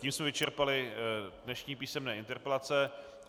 Tím jsme vyčerpali dnešní písemné interpelace.